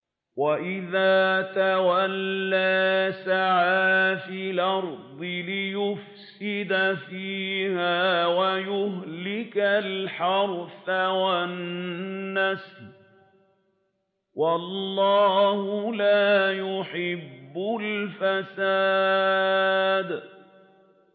وَإِذَا تَوَلَّىٰ سَعَىٰ فِي الْأَرْضِ لِيُفْسِدَ فِيهَا وَيُهْلِكَ الْحَرْثَ وَالنَّسْلَ ۗ وَاللَّهُ لَا يُحِبُّ الْفَسَادَ